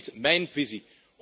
Dat is niet mijn visie.